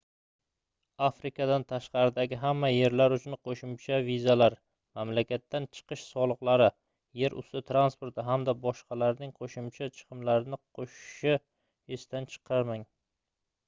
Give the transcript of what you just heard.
afrikadan tashqaridagi hamma yerlar uchun qoʻshimcha vizalar mamlakatdan chiqish soliqlari yer usti transporti hamda boshqalarning qoʻshimcha chiqimlarni qoʻshishni esdan chiqarmang